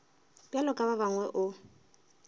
bjalo ka ba bangwe o